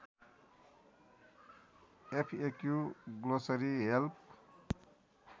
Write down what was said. FAQ glossary help